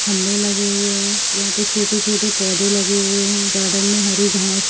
खंभे लगे हुए हैं यहाँ पे छोटे-छोटे पोधे लगे हुए हैं गार्डन में हरी घास --